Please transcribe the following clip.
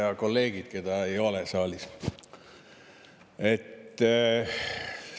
Ja kolleegid, keda ei ole saalis!